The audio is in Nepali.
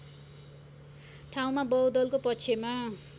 ठाउँमा बहुदलको पक्षमा